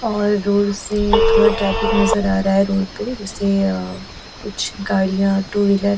और रोड से थोड़ा ट्रैफिक नजर आ रहा है रोड पे जैसे अ कुछ गाड़ियाँ टू व्हीलर --